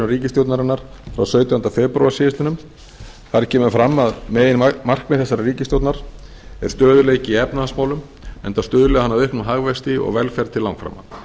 ríkisstjórnarinnar frá sautjándu febrúar síðastliðinn þar kemur fram að meginmarkmið þessarar ríkisstjórnar er stöðugleiki í efnahagsmálum enda stuðli hann að auknum hagvexti og velferð til langframa